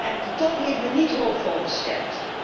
En de top heeft me niet hoopvol gestemd.